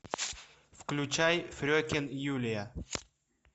включай фрекен юлия